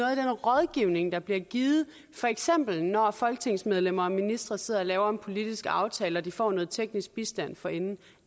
af den rådgivning der bliver givet for eksempel når folketingsmedlemmer og ministre sidder og laver en politisk aftale og de får noget teknisk bistand forinden